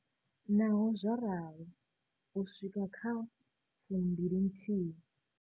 Naho zwo ralo, u swika kha a 12.